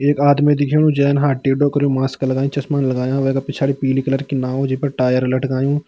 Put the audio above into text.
एक आदमी दिख्योणु जैन हाथ टेडो कर्यु मास्क लगाई चश्मा लगायाँ वेका पिछाड़ी पीली कलर की नाव जिफर टायर लटकायुँ।